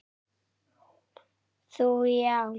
Þú já.